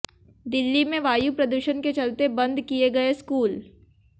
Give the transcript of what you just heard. दिल्ली में वायु प्रदूषण के चलते बंद किए गए स्कूल